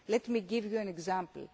way. Let me give you an